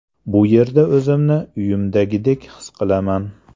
Bu yerda o‘zimni uyimdagidek his qilaman.